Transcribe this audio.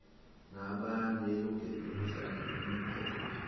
nabanelungelo lokuhlala unomphela